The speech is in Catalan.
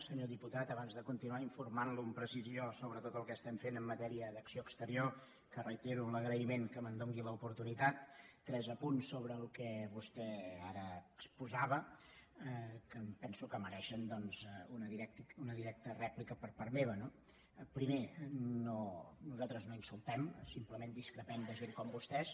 senyor diputat abans de continuar informant lo amb precisió sobre tot el que estem fent en matèria d’acció exterior que reitero l’agraïment que me’n doni l’oportunitat tres apunts sobre el que vostè ara exposava que em penso que mereixen una directa rèplica per part meva no primer nosaltres no insultem simplement discrepem de gent com vostès